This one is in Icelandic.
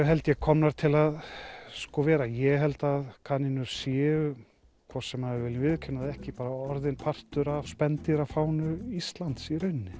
held ég komnar til að vera ég held að kanínur séu hvort sem við viljum viðurkenna það eða ekki orðnar partur af Íslands í rauninni